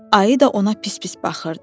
Ayı da ona pis-pis baxırdı.